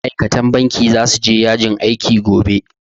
Ma'aikatan banki zasu je yajin aiki gobe